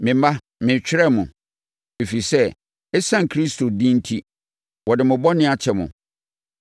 Me mma, meretwerɛ mo, ɛfiri sɛ, ɛsiane Kristo din enti, wɔde mo bɔne akyɛ mo.